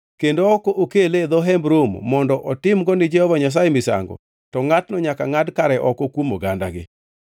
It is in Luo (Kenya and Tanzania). kendo ok okele e dho Hemb Romo mondo otimgo ni Jehova Nyasaye misango, to ngʼatno nyaka ngʼad kare oko kuom ogandagi.